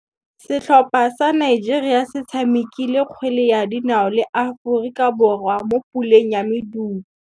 Setlhopha sa Nigeria se tshamekile kgwele ya dinaô le Aforika Borwa mo puleng ya medupe.